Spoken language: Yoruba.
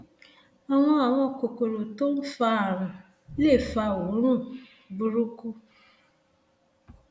àwọn àwọn kòkòrò tó ń fa àrùn lè fa òórùn burúkú